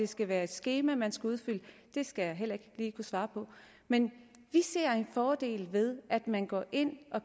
skal være et skema man skal udfylde skal jeg heller ikke lige kunne svare på men vi ser en fordel ved at man går ind og